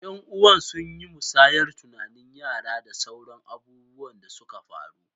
Yan'uwa sun yi musayar tunanin yara da sauran abubuwan da suka faru.